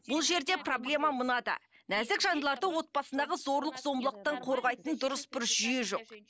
бұл жерде проблема мынада нәзік жандыларды отбасындағы зорлық зомбылықтан қорғайтын дұрыс бір жүйе жоқ